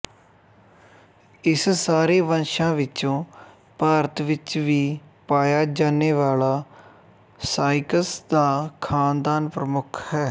ਇਸ ਸਾਰੇ ਵੰਸ਼ਾਂ ਵਿੱਚੋਂ ਭਾਰਤ ਵਿੱਚ ਵੀ ਪਾਇਆ ਜਾਨੇਵਾਲਾ ਸਾਇਕਸ ਦਾ ਖ਼ਾਨਦਾਨ ਪ੍ਰਮੁੱਖ ਹੈ